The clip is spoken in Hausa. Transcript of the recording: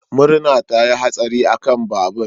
Murna ta yi hatsari akan babur.